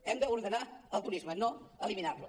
hem d’ordenar el turisme no eliminar lo